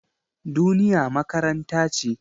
Duniya makaranta ce.